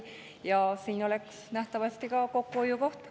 Nähtavasti oleks ka see kokkuhoiukoht.